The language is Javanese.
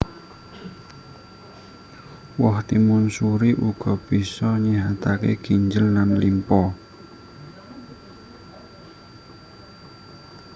Woh timun suri uga bisa nyéhataké ginjel lan limpa